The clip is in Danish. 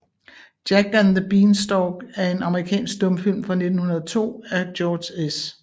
Jack and the Beanstalk er en amerikansk stumfilm fra 1902 af George S